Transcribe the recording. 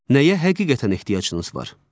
Nəyə həqiqətən ehtiyacınız var?